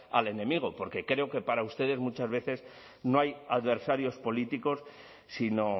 al enemigo porque creo que para ustedes muchas veces no hay adversarios políticos sino